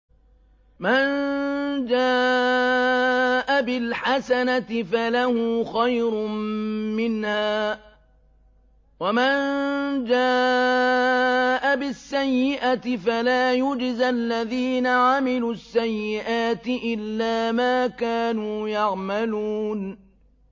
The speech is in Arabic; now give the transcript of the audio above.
مَن جَاءَ بِالْحَسَنَةِ فَلَهُ خَيْرٌ مِّنْهَا ۖ وَمَن جَاءَ بِالسَّيِّئَةِ فَلَا يُجْزَى الَّذِينَ عَمِلُوا السَّيِّئَاتِ إِلَّا مَا كَانُوا يَعْمَلُونَ